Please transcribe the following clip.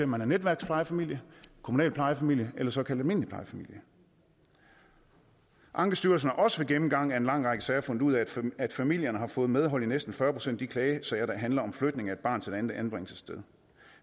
man er netværksplejefamilie kommunal plejefamilie eller såkaldt almindelig plejefamilie ankestyrelsen har også ved gennemgangen af en lang række sager fundet ud af at familierne har fået medhold i næsten fyrre procent af de klagesager der handler om flytning af et barn til et andet anbringelsessted